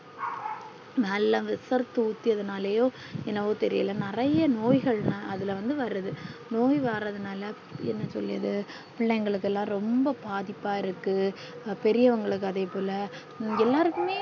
நல்ல விசரத்து உத்தியது நாளையோ என்னோவோ தெரில நிறைய நோய்கள் அதுல வந்து வருது நோய் வரது நாளா என்ன சொல்லியது பிள்ளைகளுக்கு எல்லாம் ரொம்ப பாதிப்பா இருக்கு பேரியவுங்களுக்கு அதே போல எல்லாருக்குமே